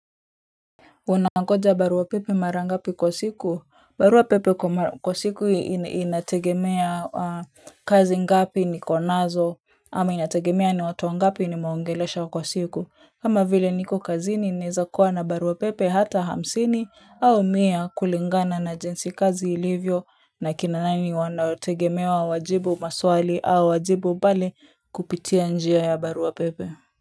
Unangoja barua pepe mara ngapi kwa siku, barua pepe kwa siku inategemea kazi ngapi niko nazo ama inategemea ni watu wangapi nimewaongelesha kwa siku. Kama vile niko kazini naeza kuwa na barua pepe hata hamsini au mia kulingana na jinsi kazi ilivyo na kina nani wanaotegemewa wajibu maswali au wajibu pale kupitia njia ya barua pepe.